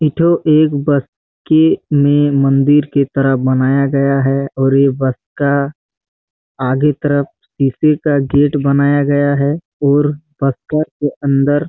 ये ठो एक बसके के में मंदिर कि तरफ बनाया गया है और ये बसका आगे तरफ शीशे का गेट बनाया गया है और बसकर के अंदर--